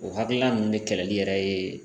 O hakilina nunnu de kɛlɛli yɛrɛ ye